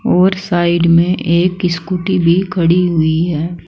और साइड में एक स्कूटी भी खड़ी हुई है।